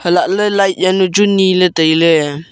alag ley light yanu chu ngan ley tailey.